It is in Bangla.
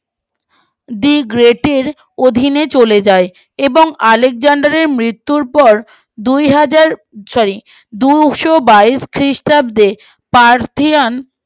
দি গ্রেট এর অধীনে চলে যায় এবং আলেকজান্ডারের মৃত্যুর পর দুহাজার সরি দুইশো বাইশ খ্রিস্টাব্দে পার্থিয়ান